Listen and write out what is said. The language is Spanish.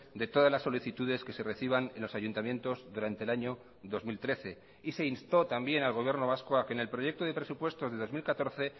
de todas las solicitudes que se reciban en los ayuntamientos durante el año dos mil trece y se instó también al gobierno vasco a que en el proyecto de presupuestos de dos mil catorce